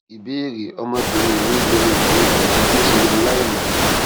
ìbéèrè ọmọbìnrin mi lo oògùn ibà ju bí ó ṣe yẹ lọ láìmọ